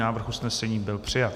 Návrh usnesení byl přijat.